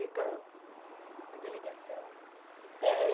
fica Uma delegação? é